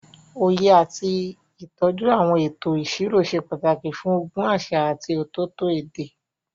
Òye àti ìtọ́jú àwọn ètò ìṣirò ṣe pàtàkì fún ogún àṣà àti ọ̀tọ̀ọ̀tọ̀ èdè.